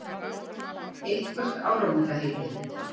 Eitthvert áramótaheiti?